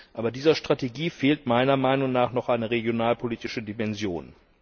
Aber dieser Strategie fehlt meiner Meinung nach noch eine regionalpolitische Dimension.